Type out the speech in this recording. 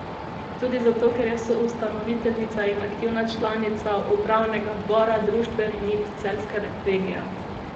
Tudi zato, ker je soustanoviteljica in aktivna članica upravnega odbora Društva rejnic celjske regije.